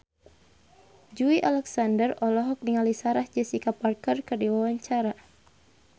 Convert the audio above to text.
Joey Alexander olohok ningali Sarah Jessica Parker keur diwawancara